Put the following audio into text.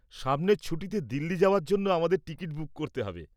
-সামনের ছুটিতে দিল্লি যাওয়ার জন্য আমাদের টিকিট বুক করতে হবে।